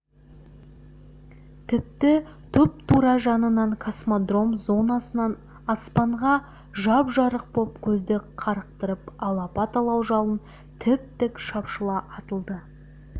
тіпті тұп-тура жанынан космодром зонасынан аспанға жап-жарық боп көзді қарықтырып алапат алау жалын тіп тік шапшыла атылды